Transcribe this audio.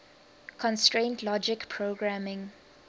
constraint logic programming